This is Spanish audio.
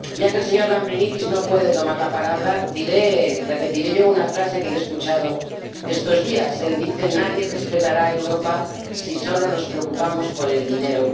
Ya que el señor Lambrinidis no puede tomar la palabra, repetiré yo una frase que le he escuchado estos días nadie respetará a Europa si solo nos preocupamos por el dinero.